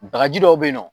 Bagaji dɔw be yen nɔ